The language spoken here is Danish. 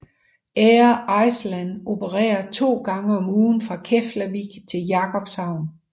Air Iceland opererer to gange om ugen fra Keflavík til Jakobshavn